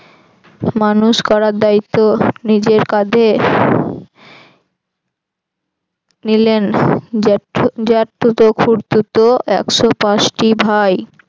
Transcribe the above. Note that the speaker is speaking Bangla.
মানুষ করার দায়িত্ব নিজের কাধে নিলেন জেঠথ~ জেঠতুতো খুড়তুতো একশ পাঁচটি ভাই।